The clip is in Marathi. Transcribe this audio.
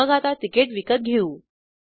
मग आता तिकीट विकत घेऊ